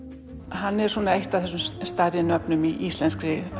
hann er svona eitt af þessum stærri nöfnum í íslenskri